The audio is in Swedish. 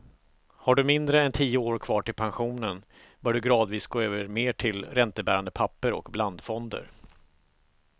Har du mindre än tio år kvar till pensionen bör du gradvis gå över mer till räntebärande papper och blandfonder.